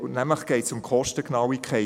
Es geht um die Kostengenauigkeit.